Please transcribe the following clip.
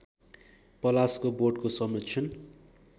पलासको बोटको संरक्षण